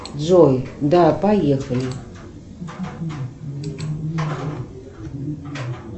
джой да поехали